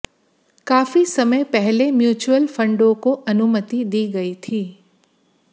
काफी समय पहले म्युचुअल फंडों को अनुमति दी गई थी